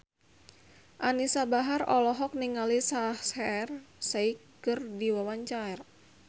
Anisa Bahar olohok ningali Shaheer Sheikh keur diwawancara